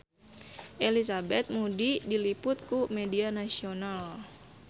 Elizabeth Moody diliput ku media nasional